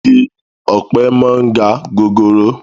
Igi ọ̀pẹ máa ń ga gogoro